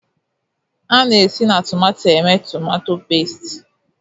A na-esi na tomato emee tomatọ pẹ́stị.